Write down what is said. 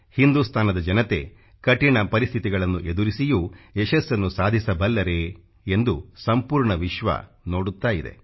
ಹಿಂದುಸ್ತಾನದ ಜನತೆ ಕಠಿಣ ಪರಿಸ್ಥಿತಿಗಳನ್ನು ಎದುರಿಸಿಯೂ ಯಶಸ್ಸನ್ನು ಸಾಧಿಸಬಲ್ಲರೇ ಎಂದು ಸಂಪೂರ್ಣ ವಿಶ್ವ ನೋಡುತ್ತಾ ಇದೆ